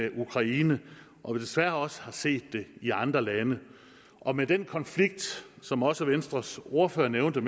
i ukraine og desværre har vi også set det i andre lande og med den konflikt som også venstres ordfører nævnte